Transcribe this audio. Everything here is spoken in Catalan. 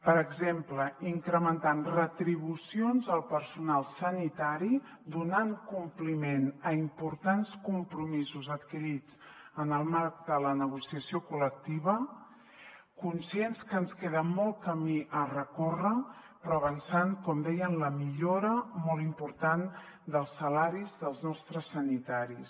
per exemple incrementant retribucions al personal sanitari donant compliment a importants compromisos adquirits en el marc de la negociació col·lectiva conscients que ens queda molt camí a recórrer però avançant com deia en la millora molt important dels salaris dels nostres sanitaris